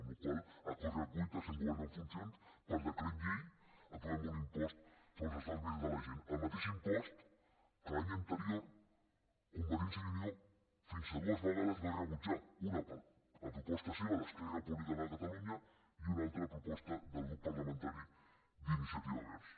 per la qual cosa a correcuita sent govern en funcions per decret llei aprovem un impost sobre els estalvis de la gent el mateix impost que l’any anterior convergència i unió fins a dues vegades va rebutjar una a proposta seva d’esquerra republicana de catalunya i una altra a proposta del grup parlamentari d’iniciativa verds